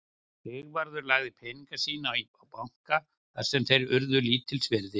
Sigvarður lagði peninga sína á banka þar sem þeir urðu lítils virði.